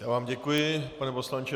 Já vám děkuji, pane poslanče.